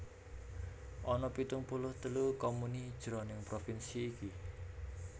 Ana pitung puluh telu comuni jroning provinsi iki